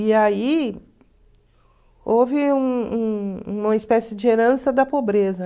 E aí houve um um uma espécie de herança da pobreza.